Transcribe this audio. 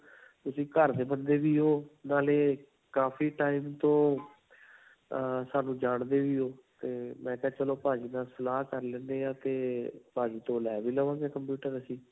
ਤੁਸੀਂ ਘਰ ਦੇ ਬੰਦੇ ਵੀ ਹੋ ਨਾਲੇ ਕਾਫ਼ੀ time ਤੋਂ ਅਅ ਸਾਨੂੰ ਜਾਂਦੇ ਵੀ ਹੋ 'ਤੇ ਮੈ ਕਿਹਾ ਚਲੋ ਭਾਜੀ ਨਾਲ ਸਲਾਹ ਕਰ ਲੈਂਦੇ ਹਾਂ 'ਤੇ ਭਾਜੀ ਤੋਂ ਲੇ ਵੀ ਲਵਾਂਗੇ computer ਅਸੀਂ.